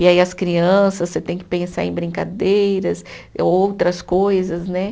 E aí as crianças, você tem que pensar em brincadeiras, outras coisas, né?